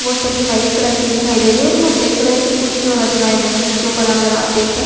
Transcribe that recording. वो सभी white colour के दिखाई दे रही है और मैं ब्लैक कलर की कुछ जो रचनायें बनी हुई है उनके ऊपर अगर आप देखे --